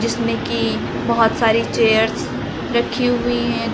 जिसमें कि बहोत सारी चेयर्स रखी हुई है द--